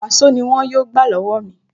Wàsó ni wọn yóò gbà lọ́wọ́ mi